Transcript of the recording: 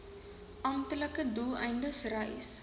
amptelike doeleindes reis